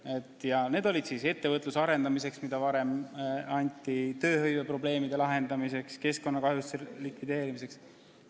Need olid raha eraldamine ettevõtluse arendamiseks, mis varem võimalik oli, tööhõiveprobleemide lahendamiseks, keskkonnakahjude likvideerimiseks.